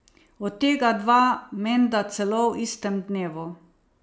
Od tega dva menda celo v istem dnevu.